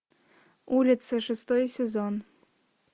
улица шестой сезон